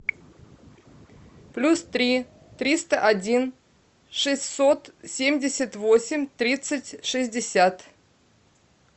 плюс три триста один шестьсот семьдесят восемь тридцать шестьдесят